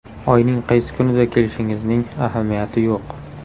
Oyning qaysi kunida kelishingizning ahamiyati yo‘q.